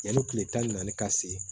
Yanni kile tan ni naani ka se